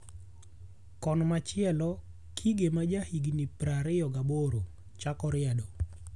Kon machielo, Kige maja higni prario gaboro chako riedo.